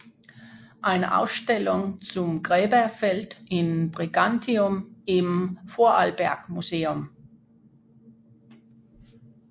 Eine Ausstellung zum Gräberfeld in Brigantium im vorarlberg museum